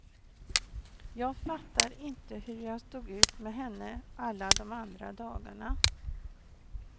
Jag fattar inte hur jag stod ut med henne alla de andra dagarna.